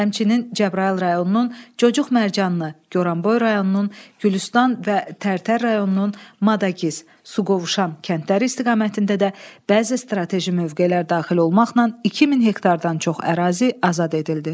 Həmçinin Cəbrayıl rayonunun Cocuq Mərcanlı, Goranboy rayonunun Gülüstan və Tərtər rayonunun Madagiz, Suqovuşan kəndləri istiqamətində də bəzi strateji mövqelər daxil olmaqla 2000 hektardan çox ərazi azad edildi.